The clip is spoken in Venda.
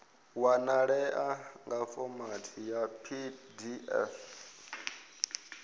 wanalea nga fomathi ya pdf